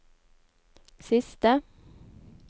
siste